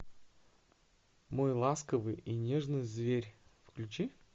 мой ласковый и нежный зверь включи